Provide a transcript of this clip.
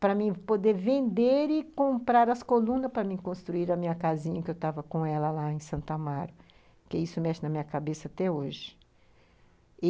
para poder vender e comprar as colunas para construir a minha casinha, que eu estava com ela lá em Santo Amaro, porque isso mexe na minha cabeça até hoje e